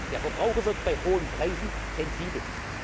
sind. Der Verbraucher wird bei hohen Preisen sensibel.